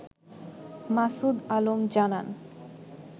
মাসুদ আলম জানান